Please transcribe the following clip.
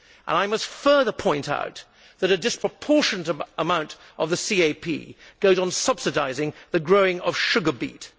I must further point out that a disproportionate amount of the CAP goes on subsidising the growing of sugar beet.